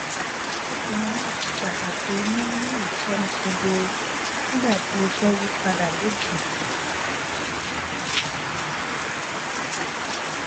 ó tẹnumó iṣepàtàkì nini itọni kedere nígbà tí iṣé yí padà lojiji